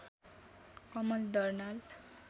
Kamal Darnal